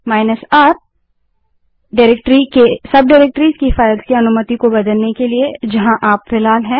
R160 जो directory की सब डाइरेक्टरीज़ हैं उनकी फ़ाइलों की अनुमति को बदलने के लिए जहाँ आप फिलहाल हैं